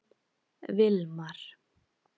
Vilmar